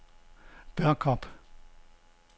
Børkop